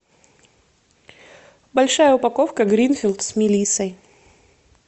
большая упаковка гринфилд с мелиссой